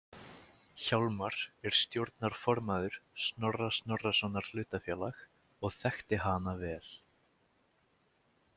Hjálmar er stjórnarformaður Snorra Snorrasonar hlutafélag og þekkti hana vel.